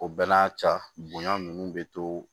O bɛɛ n'a ca bonya ninnu bɛ to